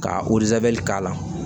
Ka k'a la